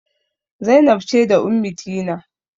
Zainab ce da Ummitina.